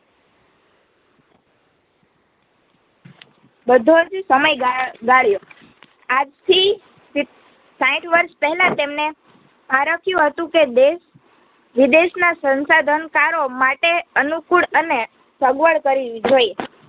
બધોજ સમય ગા ગાળ્યો. આજથી સીત્ સાઈઠ વર્ષ પેહલા તેમને આરક્યું દેશ વિદેશના સંસાધનકારોમાટે અનુકૂળ અને સગવળ કરવી જોઈએ